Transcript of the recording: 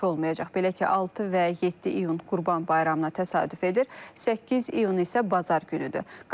Belə ki, 6 və 7 iyun Qurban bayramına təsadüf edir, 8 iyun isə bazar günüdür.